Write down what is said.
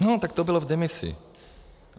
No, tak to bylo v demisi.